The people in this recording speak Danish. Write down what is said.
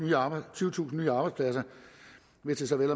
tyvetusind nye arbejdspladser hvis det så vel